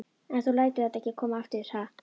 En þú lætur þetta ekki koma fyrir aftur, ha?